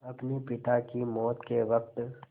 अपने पिता की मौत के वक़्त